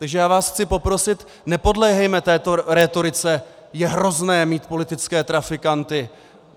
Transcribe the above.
Takže já vás chci poprosit, nepodléhejme této rétorice: "Je hrozné mít politické trafikanty!